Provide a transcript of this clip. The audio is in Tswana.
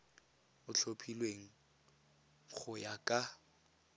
o tlhophilweng go ya ka